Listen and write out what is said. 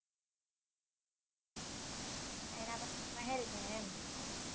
એના પછી મહેલ છે એમ